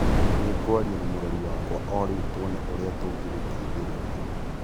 Nĩ ngwaria na Mũrori wakwa o rĩu, tuone ũrĩa tũngĩgũteithĩrĩria.